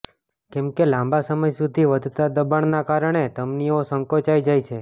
કેમકે લાંબા સમય સુધી વધતા દબાણના કારણે ધમનીઓ સંકોચાઇ જાય છે